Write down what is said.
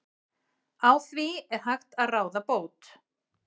Á því er hægt að ráða bót.